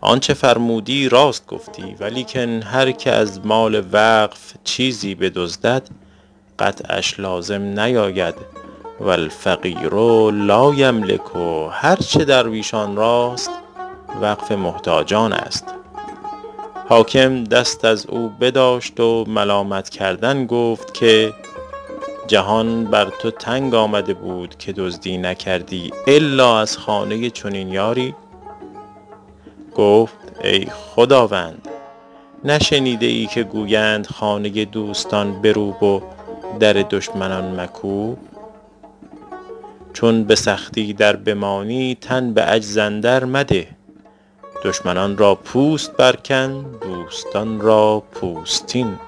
آنچه فرمودی راست گفتی ولیکن هر که از مال وقف چیزی بدزدد قطعش لازم نیاید و الفقیر لایملک هر چه درویشان راست وقف محتاجان است حاکم دست از او بداشت و ملامت کردن گرفت که جهان بر تو تنگ آمده بود که دزدی نکردی الا از خانه چنین یاری گفت ای خداوند نشنیده ای که گویند خانه دوستان بروب و در دشمنان مکوب چون به سختی در بمانی تن به عجز اندر مده دشمنان را پوست بر کن دوستان را پوستین